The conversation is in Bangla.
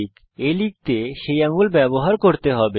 আপনাকে a লিখতে সেই আঙুল ব্যবহার করতে হবে